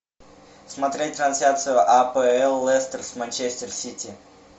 смотреть трансляцию апл лестер с манчестер сити